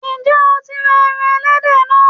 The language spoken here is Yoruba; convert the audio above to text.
Ǹjẹ́ o tí ra ẹran ẹlẹ́dẹ̀ náà?